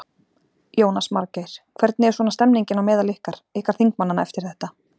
Jónas Margeir: Hvernig er svona stemningin á meðal ykkar, ykkar þingmannanna eftir þetta?